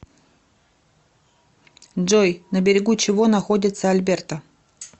джой на берегу чего находится альберта